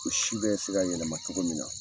O si bɛ se ka yɛlɛma cogo min na.